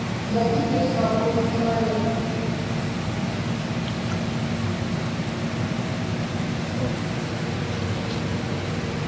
я теперь свободный человек